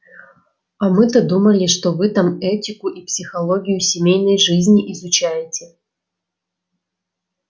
а мы-то думали что вы там этику и психологию семейной жизни изучаете